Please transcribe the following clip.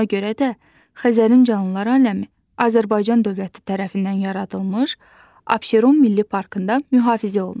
Buna görə də Xəzərin canlılar aləmi Azərbaycan dövləti tərəfindən yaradılmış Abşeron Milli Parkında mühafizə olunur.